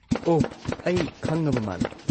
ꯑꯣꯍ, ꯑꯩ ꯈꯪꯉꯕ ꯃꯥꯜꯂꯦ꯫